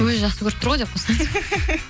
өзі жақсы көріп тұр ғой деп қойсаңызшы